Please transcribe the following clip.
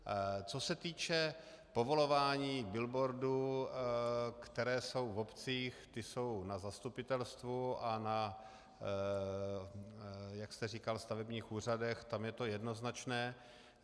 Co se týče povolování billboardů, které jsou v obcích, ty jsou na zastupitelstvu a na, jak jste říkal, stavebních úřadech, tam je to jednoznačné.